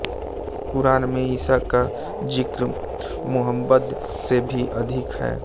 क़ुरान में ईसा का ज़िक्र मुहम्मद से भी अधिक है